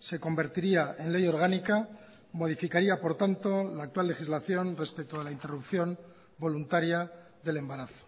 se convertiría en ley orgánica modificaría por tanto la actual legislación respecto a la interrupción voluntaria del embarazo